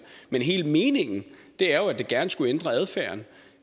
men hele meningen er jo at det gerne skulle ændre adfærden